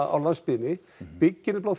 á landsbyggðinni byggja nefnilega